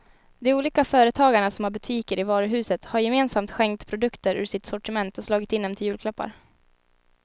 De olika företagarna som har butiker i varuhuset har gemensamt skänkt produkter ur sitt sortiment och slagit in dem till julklappar.